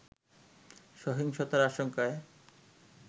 সহিংসতার আশঙ্কায়